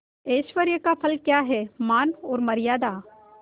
ऐश्वर्य का फल क्या हैमान और मर्यादा